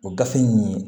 O gafe nin